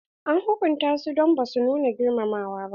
An hukunta su don ba su nuna girmamawa ba.